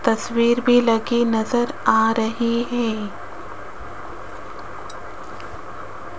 तस्वीर भी लगी नजर आ रही है।